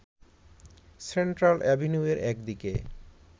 central এভিনিউয়ের একদিকে